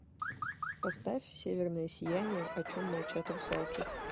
поставь северное сияние о чем молчат русалки